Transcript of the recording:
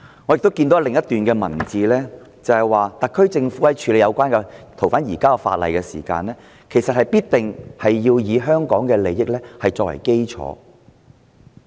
我從另一段文字亦看到，特區政府在處理有關的逃犯移交法例時，必定會以香港的利益作為基礎。